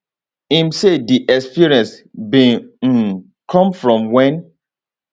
im say di experience bin um come from wen